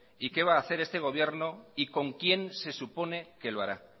qué va a hacer este gobierno y con quién se supone que lo hará